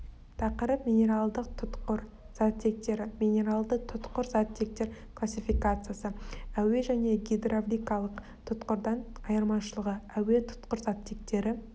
тақырып минералдық тұтқыр заттектері минералды тұтқыр заттектері классификациясы әуе және гидравликалық тұтқырдан айырмашылығы әуе тұтқыр заттектері